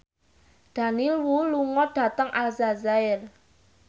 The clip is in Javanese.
Daniel Wu lunga dhateng Aljazair